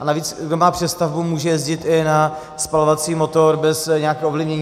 A navíc, kdo má přestavbu, může jezdit i na spalovací motor bez nějakého ovlivnění.